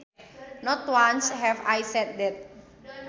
Not once have I said that